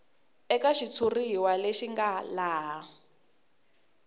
eka xitshuriwa lexi nga laha